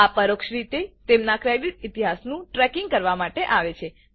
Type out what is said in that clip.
આ પરોક્ષ રીતે તેમના ક્રેડિટ ઇતિહાસનું ટ્રેકિંગ કરવામાં આવે છે